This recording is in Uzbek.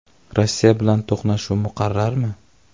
Rossiya bilan to‘qnashuv muqarrarmi?.